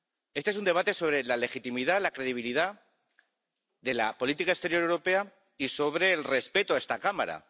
Este es un debate sobre la legitimidad, la credibilidad de la política exterior europea y sobre el respeto a esta Cámara.